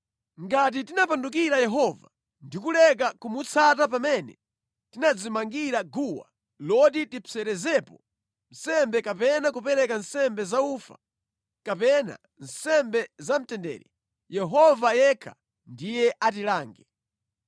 Ngati tinapandukira Yehova ndi kuleka kumutsata pamene tinadzimangira guwa loti tizipserezerapo nsembe kapena kupereka nsembe zaufa, kapena nsembe za mtendere, Yehova yekha ndiye atilange.